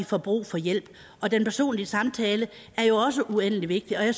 får brug for hjælp og den personlige samtale er jo også uendelig vigtig og